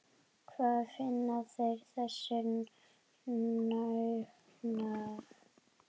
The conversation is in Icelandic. Hvar finna þeir þessa náunga??